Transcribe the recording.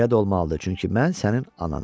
Belə də olmalıdır, çünki mən sənin ananam.